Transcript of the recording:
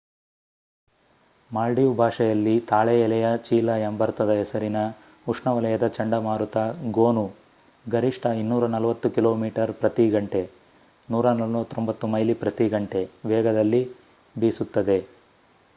Maldive ಭಾಷೆಯಲ್ಲಿ ತಾಳೆ ಎಲೆಯ ಚೀಲ ಎಂಬರ್ಥದ ಹೆಸರಿನ ಉಷ್ಣವಲಯದ ಚಂಡಮಾರುತ ಗೋನು ಗರಿಷ್ಠ 240 ಕಿಲೋಮೀಟರ್ ಪ್ರತಿ ಗಂಟೆ149 ಮೈಲಿ ಪ್ರತಿ ಗಂಟೆ ವೇಗದಲ್ಲಿ ಬೀಸುತ್ತದೆ